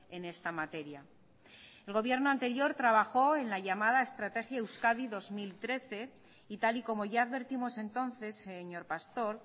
en esta materia el gobierno anterior trabajó en la llamada estrategia euskadi dos mil trece y tal y como ya advertimos entonces señor pastor